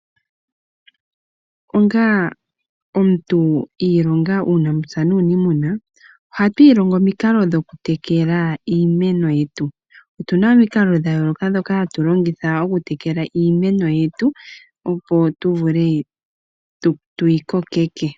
Onga omuntu ilonga uunamapya nuunimuna, oha tu ilongo omikalo dhoku tekela iimeno yetu. Otuna omikalo dhayoloka dhoka hatu longitha oku tekela iimeno yetu opo tu vule tuyi kokeke.